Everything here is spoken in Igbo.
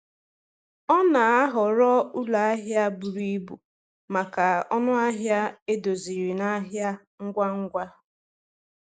Ọ na-ahọrọ ụlọ ahịa buru ibu maka ọnụ ahịa edoziri na ahịa ngwa ngwa.